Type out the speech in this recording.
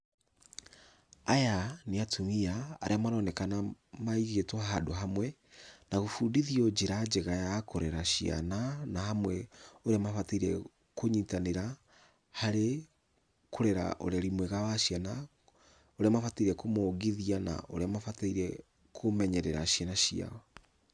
Aya nĩ atumia arĩa maronekana maigĩtwo handũ hamwe na gũbundithio njĩra njega ya kũrera ciana, na amwe ũrĩa mabatairie kũnyitanĩra, harĩ kũrera ũreri mwega wa ciana, ũrĩa mabataire kũmongithia na ũrĩa mabataire kũmenyerera ciana ciao.